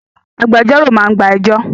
Agbẹjọ́rò máa gba ẹjọ́